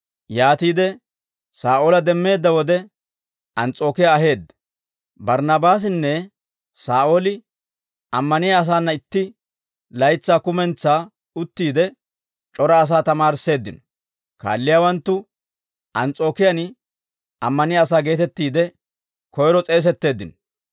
Yaatiide Saa'oola demmeedda wode, Ans's'ookiyaa aheedda. Barnnaabaasinne Saa'ooli ammaniyaa asaana itti laytsaa kumentsaa uttiide, c'ora asaa tamaarisseeddino; kaalliyaawanttu Ans's'ookiyaan Ammaniyaa asaa geetettiide, koyro s'eesetteeddino.